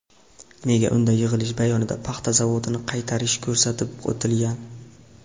Nega unda yig‘ilish bayonida paxta zavodini qaytarish ko‘rsatib o‘tilgan?